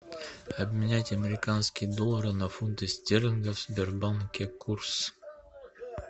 обменять американские доллары на фунты стерлингов в сбербанке курс